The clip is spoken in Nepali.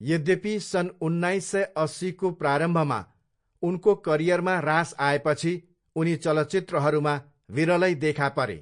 यद्यपि, सन् उन्नाइस सय अस्सीको प्रारम्भमा उनको करियरमा ह्रास आएपछि उनी चलचित्रहरूमा विरलै देखा परे।